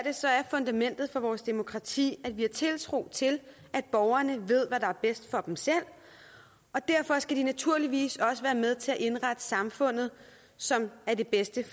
fundamentet for vores demokrati at vi har tiltro til at borgerne ved hvad der er bedst for dem selv og derfor skal de naturligvis også være med til at indrette samfundet sådan at det er bedst